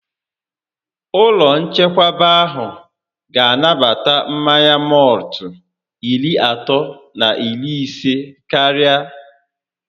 Ụlọ nchekwaba ahụ ga anabata mmanya mọltụ iri atọ na iri isé karịa